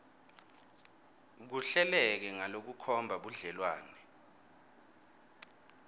kuhleleke ngalokukhomba budlelwane